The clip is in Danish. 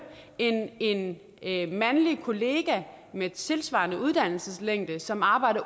end en en mandlig kollega med tilsvarende uddannelseslængde som arbejder